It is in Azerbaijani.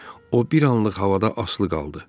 O bir anlıq havada asılı qaldı.